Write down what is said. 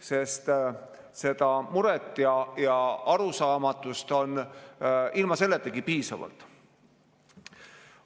Sest muret ja arusaamatust on ilma selletagi piisavalt.